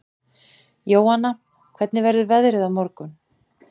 Jóanna, hvernig verður veðrið á morgun?